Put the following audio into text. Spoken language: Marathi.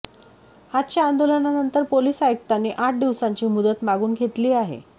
आजच्या आंदोलनानंतर पोलिस आयुक्तांनी आठ दिवसांची मुदत मागून घेतली आहे